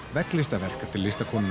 vegglistaverk eftir